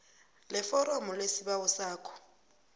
leforomo lesibawo sakho